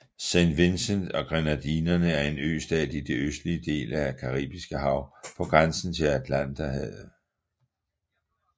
Saint Vincent og Grenadinerne er en østat i den østlige del af det Caribiske Hav på grænsen til Atlanterhavet